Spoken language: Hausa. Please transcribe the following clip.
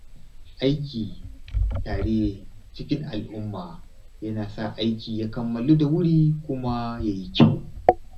Aiki tare a cikin al’umma yana sa aiki ya kammalu da wuri kuma ya yi kyau